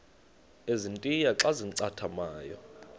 ezintia xa zincathamayo